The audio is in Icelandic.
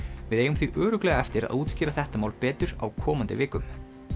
við eigum því örugglega eftir útskýra þetta mál betur á komandi vikum